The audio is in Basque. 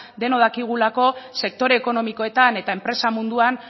denok dakigulako sektore ekonomikoetan eta enpresa munduan